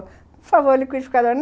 Por favor, liquidificador.